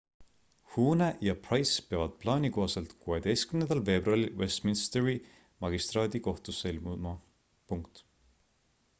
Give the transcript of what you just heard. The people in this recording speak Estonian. huhne ja pryce peavad plaani kohaselt 16 veebruaril westminsteri magistraadikohtusse ilmuma